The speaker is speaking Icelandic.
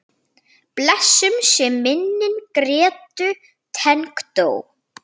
Blessuð sé minning Grétu tengdó.